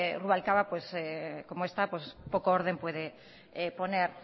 rubalcaba como está poco orden puede poner